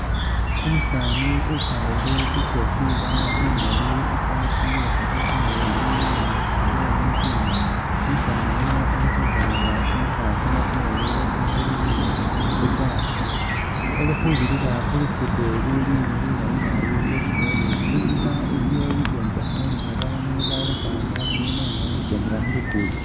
Umusaani ukwalile ikofila imaali, isaati iye kamakhono kamaleyi ni i'longi imaali. Umusaani yuno kali khuba nga asindikha kamatoore kali khu gali ili khubilila khu luguudo luli lulayi naabi lweshi belule, inyuma iliyo bibyombekhe ni babaandu bali ukhwama inyuma nga bali khu kyendela khu luguudo.